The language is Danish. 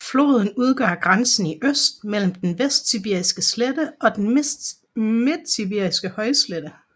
Floden udgør grænsen i øst mellem den vestsibiriske slette og den midtsibiriske højslette